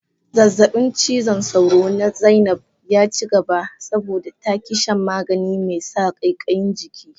Zazzabin cizon sauro na Zainab ya cigaba, saboda ta ki shan magani mai sa kaikayin jiki.